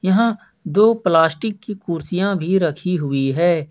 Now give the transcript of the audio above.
यहां दो प्लास्टिक की कुर्सियां भी रखी हुई है।